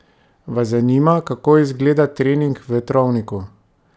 Vas zanima kako izgleda trening v vetrovniku?